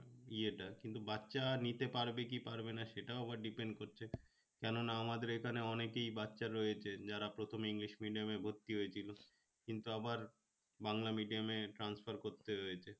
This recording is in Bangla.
ইয়েটা কিন্তু বাচ্চা নিতে পারবে কি পারবে না সেটাও আবার depend করছে কেননা আমাদের এখানে অনেকেই বাচ্চা রয়েছে যারা প্রথমে english medium এ ভর্তি হয়েছিল কিন্তু আবার বাংলা medium এ transfer করতে হয়েছে